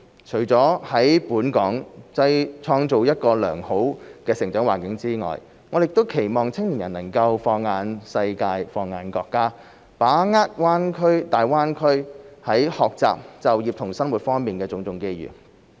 除了在本港創造一個良好的成長環境外，我們亦期望青年人能放眼世界、放眼國家，把握大灣區在學習、就業和生活方面的種種機遇。